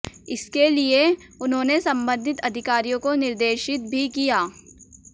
इसके लिए उन्होंने संबंधित अधिकारियों को निर्देशित भी किया